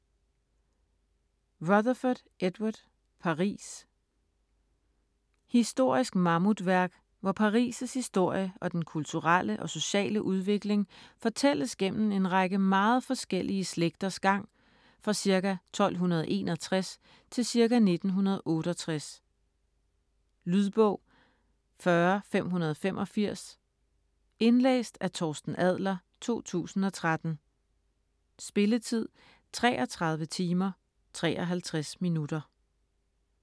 Rutherfurd, Edward: Paris Historisk mammutværk, hvor Paris' historie og den kulturelle og sociale udvikling fortælles gennem en række meget forskellige slægters gang fra ca. 1261 til ca. 1968. Lydbog 40585 Indlæst af Torsten Adler, 2013. Spilletid: 33 timer, 53 minutter.